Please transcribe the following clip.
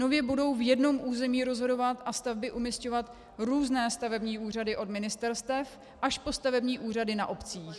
Nově budou v jednom území rozhodovat a stavby umisťovat různé stavební úřady, od ministerstev až po stavební úřady na obcích.